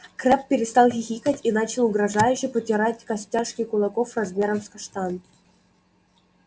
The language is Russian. крэбб перестал хихикать и начал угрожающе потирать костяшки кулаков размером с каштан